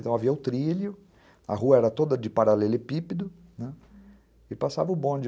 Então, havia o trilho, a rua era toda de paralelepípedo, né, e passava o bonde.